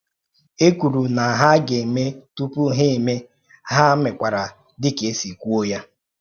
E kwúrụ na ha ga-eme tupu ha mee, ha mekwara dị ka e sí kwúọ ya.